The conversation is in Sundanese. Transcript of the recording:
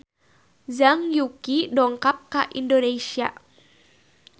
Zhang Yuqi dongkap ka Indonesia